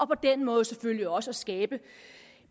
på den måde selvfølgelig også at skabe